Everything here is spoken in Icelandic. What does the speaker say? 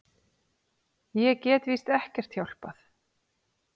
Ég get víst ekkert hjálpað.